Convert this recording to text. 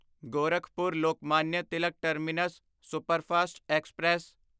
Gorakhpur Lokmanya Tilak terminus superfast express